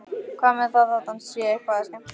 Hvað með það þótt hann sé eitthvað að skemmta sér?